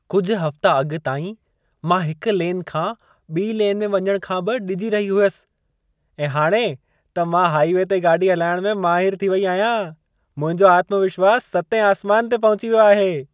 कुझु हफ़्ता अॻु ताईं, मां हिक लेन खां ॿिई लेन में वञण खां बि डिॼी रही हुयसि ऐं हाणे त मां हाईवे ते गाॾी हलाइणु में माहिर थी वेई आहियां। मुंहिंजो आत्मविश्वास सतें आसमान ते पहुची वियो आहे।